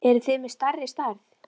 Eruð þið með stærri stærð?